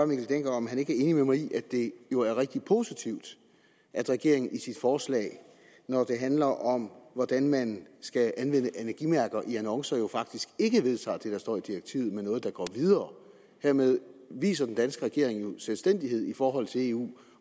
mikkel dencker om han ikke er enig med mig i at det jo er rigtig positivt at regeringen med sit forslag når det handler om hvordan man skal anvende energimærker i annoncer jo faktisk ikke vedtager det der står i direktivet men noget der går videre hermed viser den danske regering jo selvstændighed i forhold til eu